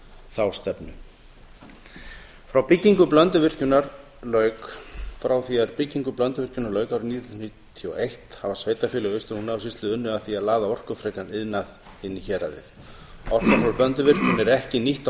þá stefnu frá því að byggingu blönduvirkjunar lauk árið nítján hundruð níutíu og eitt hafa sveitarfélög í austur húnavatnssýslu unnið að því að laða orkufrekan iðnað í héraðið orka frá blönduvirkjun er ekki nýtt á